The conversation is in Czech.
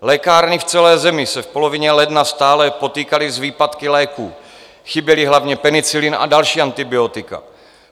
Lékárny v celé zemi se v polovině ledna stále potýkaly s výpadky léků, chyběly hlavně penicilin a další antibiotika.